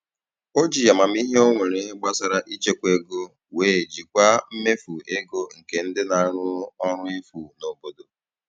O ji amamihe o nwere gbasara ịchekwa ego wee jikwaa mmefu ego nke ndị na-arụ ọrụ efu n'obodo.